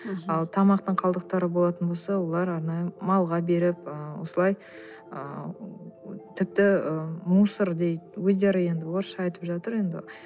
ал тамақтың қалдықтары болатын болса олар арнайы малға беріп ы осылай ы тіпті ы мусор дейді өздері енді орысша айтып жатыр енді